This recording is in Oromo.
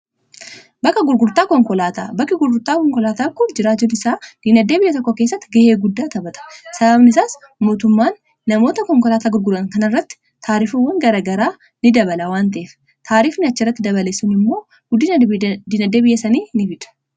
bakka gurgurtaa konkolaataa bakka gurgurtaa konkolaataa kun jiraachuun isaa diinagdee biyya tokkoo keessatti ga'ee guddaa taphata. sababni isaas mootummaan namoota konkolaataa gurguran kana irratti taarifawwan garagaraa ni dabala waan ta'eef taariificha irratti dabale sun immoo guddina diinagdee biyya sanii ni fida.